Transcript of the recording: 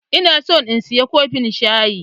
Ina so in saya kofin shayi.